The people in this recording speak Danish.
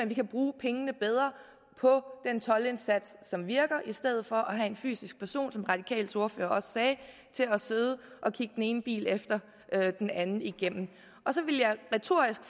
vi kan bruge pengene bedre på den toldindsats som virker i stedet for at have en fysisk person som de radikales ordfører også sagde til at sidde og kigge den ene bil efter den anden igennem og så ville jeg retorisk